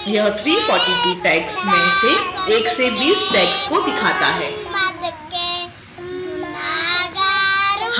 यह 342 tags में से 1 से 20 tags को दिखाता है